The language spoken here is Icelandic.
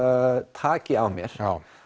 taki á mér